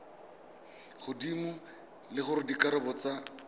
godimo le gore dikarabo tsa